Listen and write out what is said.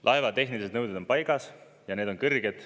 Laeva tehnilised nõuded on paigas ja need on kõrged.